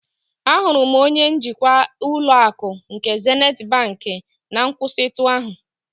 Ahụrụ m onye njikwa ụlọ akụ nke Zenịt bank na nkwụsịtụ ahụ.